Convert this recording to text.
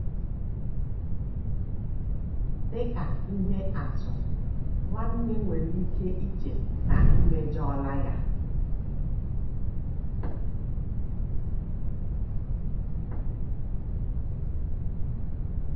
Dị ka ihe atụ, nwanna nwere ike iche na i mejọla ya.